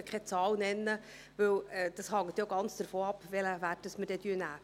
Auch heute kann ich keine Zahl nennen, weil es davon abhängt, welchen Wert wir nehmen werden.